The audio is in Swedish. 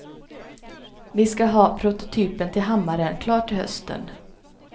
Vi skall ha prototypen till hammaren klar till hösten.